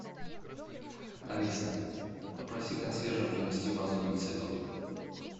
алиса попроси консьержа принести вазу для цветов